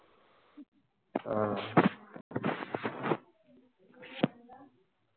ஆஹ்